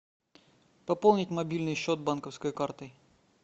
пополнить мобильный счет банковской картой